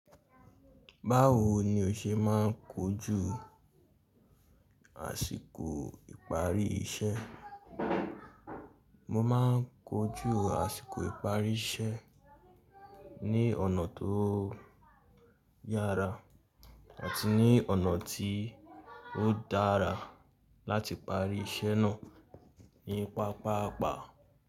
Báwo ni o ṣe máa ń kojú àsìkò ìparí iṣẹ́? Mo máa ń kojú àsìkò ìparí iṣẹ́ ní ọ̀nà tó yára àti ní ọ̀nà tí ó dára láti parí iṣẹ́ náà ní pápàápàá.